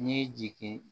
N ye jigin